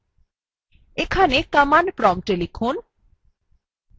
এখানে command prompt লিখুন